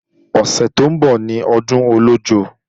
Ọ̀sẹ̀ tó ń bọ̀ ní ọdún Ọlọ́jọ́